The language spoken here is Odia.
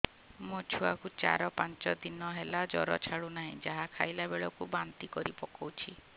ମୋ ଛୁଆ କୁ ଚାର ପାଞ୍ଚ ଦିନ ହେଲା ଜର ଛାଡୁ ନାହିଁ ଯାହା ଖାଇଲା ବେଳକୁ ବାନ୍ତି କରି ପକଉଛି